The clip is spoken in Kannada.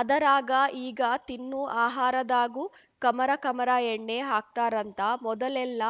ಅದರಾಗ ಈಗ ತಿನ್ನು ಆಹಾರದಾಗೂ ಕಮರ ಕಮರ ಎಣ್ಣೆ ಹಾಕ್ತಾರಂಥ ಮೊದಲೆಲ್ಲ